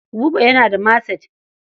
Buba yana da maset.